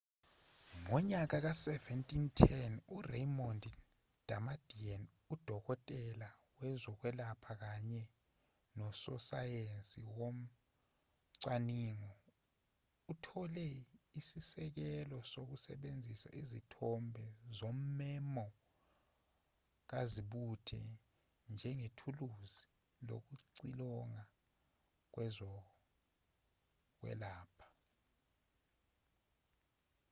ngonyaka ka-1970 uraymond damadian udokotela wezokwelapha kanye nososayensi wocwaningo uthole isisekelo sokusebenzisa izithombe zommemo kazibuthe njengethuluzi lokucilonga kwezokwelapha